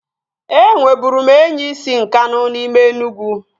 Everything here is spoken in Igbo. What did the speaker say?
E nweburu m enyi si Nkanu n'ime Enugwu